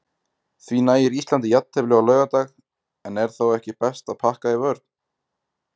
Því nægir Íslandi jafntefli á laugardag, en er þá ekki best að pakka í vörn?